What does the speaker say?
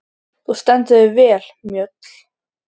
Þú stendur þig vel, Mjöll!